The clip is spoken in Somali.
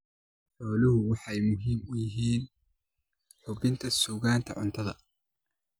Xooluhu waxay muhiim u yihiin hubinta sugnaanta cuntada.